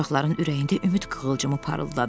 Uşaqların ürəyində ümid qığılcımı parıldadı.